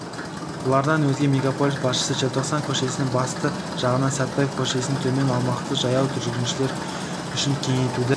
бұлардан өзге мегаполис башысы желтоқсан көшесінің батыс жағынан сәтпев көшесінен төмен аумақты жаяу жүргіншілер үшін кеңейтуді